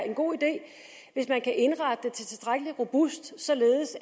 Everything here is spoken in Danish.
en god idé hvis man kan indrette det tilstrækkelig robust således